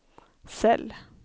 cell